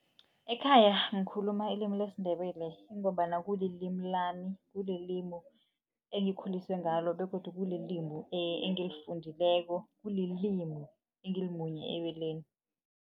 Ekhaya ngikhuluma ilimi lesiNdebele kungombana kulilimi lami kulilimi engikhuliswe ngalo begodu kulilimi engilifundileko kulilimi engilimunye ebeleni.